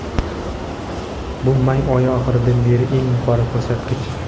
bu may oyi oxiridan beri eng yuqori ko‘rsatkich.